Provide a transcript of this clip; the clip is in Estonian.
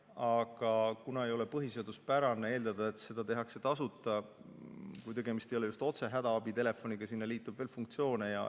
Aga ei ole põhiseaduspärane eeldada, et seda tehakse tasuta, kui tegemist ei ole just hädaabitelefoniga ja sellele liitub veel funktsioone.